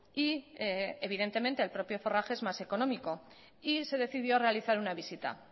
y evidentemente el propio forraje es más económico y se decidió realizar una visita